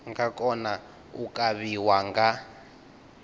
nga kona u kavhiwa nga